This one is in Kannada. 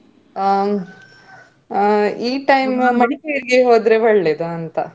ಆ ಈ time ಮಡಿಕೇರಿಗೆ ಹೋದ್ರೆ ಒಳ್ಳೆದ ಅಂತ,